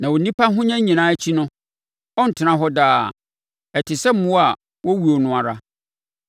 Na onipa ahonya nyinaa akyi no, ɔrentena hɔ daa; ɔte sɛ mmoa a wɔwuo no ara.